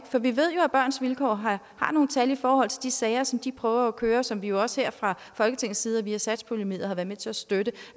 for vi ved jo at børns vilkår har nogle tal i forhold til de sager som de prøver at køre som vi jo også her fra folketingets side og via satspuljemidler har været med til at støtte